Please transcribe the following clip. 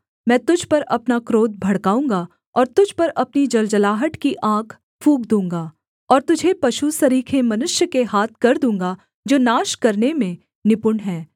मैं तुझ पर अपना क्रोध भड़काऊँगा और तुझ पर अपनी जलजलाहट की आग फूँक दूँगा और तुझे पशु सरीखे मनुष्य के हाथ कर दूँगा जो नाश करने में निपुण हैं